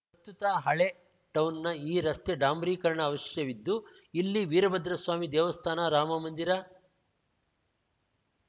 ಪ್ರಸ್ತುತ ಹಳೇಟೌನ್‌ನ ಈ ರಸ್ತೆ ಡಾಂಬರೀಕರಣ ಅವಶ್ಯವಿದ್ದು ಇಲ್ಲಿ ವೀರಭದ್ರಸ್ವಾಮಿ ದೇವಸ್ಥಾನ ರಾಮಮಂದಿರ